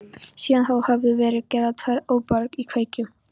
Síðan þá höfðu verið gerðar tvær óburðugar íkveikju